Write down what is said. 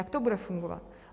Jak to bude fungovat?